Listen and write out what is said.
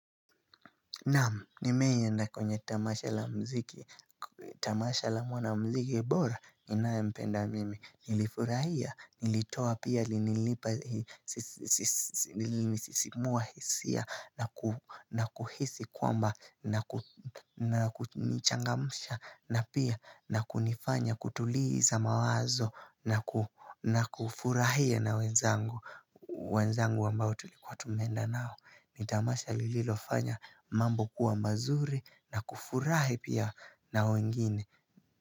Naam, nimewahienda kwenye tamasha la mziki, tamasha la mwana mziki bora, ninayempenda mimi, nilifurahia, nilitoa pia, nilisisimua hisia, na kuhisi kwamba, na kunichangamsha, na pia, na kunifanya, kutuliza mawazo, na kufurahia na wenzangu, wenzangu ambao tulikuwa tumeenda nao. Ni tamasha lililofanya mambo kuwa mazuri na kufurahi pia na wengine.